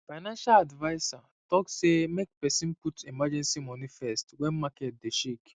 financial adviser talk say make person put emergency moni first when market dey shake